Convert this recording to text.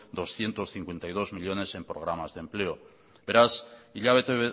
doscientos cincuenta y dos millónes en programas de empleo beraz hilabete